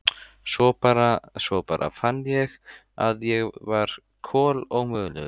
Svo bara. svo bara fann ég að ég var kolómögulegur.